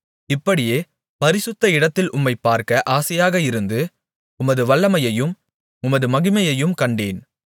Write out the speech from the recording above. இப்படியே பரிசுத்த இடத்தில் உம்மைப்பார்க்க ஆசையாக இருந்து உமது வல்லமையையும் உமது மகிமையையும் கண்டேன்